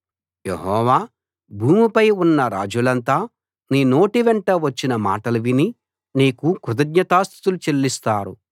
యెహోవా భూమిపై ఉన్న రాజులంతా నీ నోటి వెంట వచ్చిన మాటలు విని నీకు కృతజ్ఞతా స్తుతులు చెల్లిస్తారు